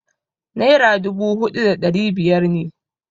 Naira dubu huɗu da ɗari biyar ne.